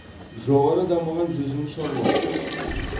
жоғары дамыған жүзім шаруашылығы бар